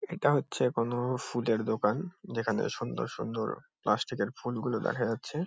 এটা হচ্ছে কোনো ফুলের দোকান। যেখানে সুন্দর সুন্দর প্লাস্টিক -এর ফুলগুলো দেখা যাচ্ছে ।